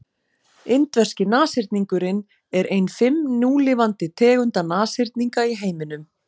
indverski nashyrningurinn er ein fimm núlifandi tegunda nashyrninga í heiminum